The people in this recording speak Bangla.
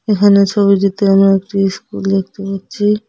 এখানে ছবিটিতে আমরা একটি ইস্কুল দেখতে পাচ্ছি।